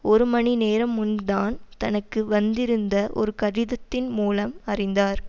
ஒரு மணிநேரம் முன் தான் தனக்கு வந்திருந்த ஒரு கடிதத்தின் மூலம் அறிந்தார்